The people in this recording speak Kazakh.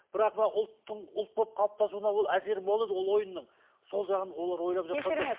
бірақ мына ұлттың ұлт болып қалыптасуына ол әсері мол еді ол ойынның сол жағын олар ойлап жатқан жоқ